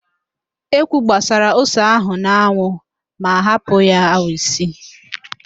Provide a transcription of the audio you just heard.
Ekwi gbasara ose ahụ n'anwụ ma hapụ ya awa isii